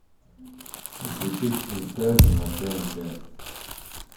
включить интерны на тнт